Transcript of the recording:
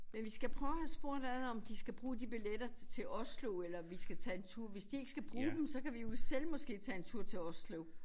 Men vi skal prøve og have spurgt ad om de skal bruge de billetter til Oslo eller vi skal tage en tur hvis de ikke skal bruge dem så kan vi jo selv måske tage en tur til Oslo